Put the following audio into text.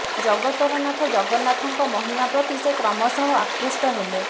ଜଗତର ନାଥ ଜଗନ୍ନାଥଙ୍କ ମହିମା ପ୍ରତି ସେ କ୍ରମଶଃ ଆକୃଷ୍ଟ ହେଲେ